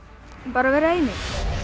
bara að vera einir